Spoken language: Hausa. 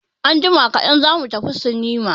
Anjima kaɗan za mu tafi sinima.